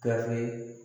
Gafe